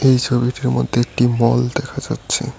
এই ছবিটির মধ্যে একটি মল দেখা যাচ্ছে।